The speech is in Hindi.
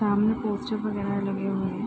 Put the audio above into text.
सामने पोस्टर वैगरा लगे हुए हैं।